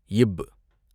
இப்பு